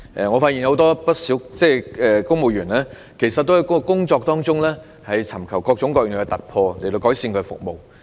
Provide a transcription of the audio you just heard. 我發現不少公務員皆在工作中尋求各種各樣的突破，以期改善服務。